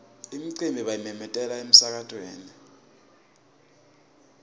imicimbi bayimemetela emsakatweni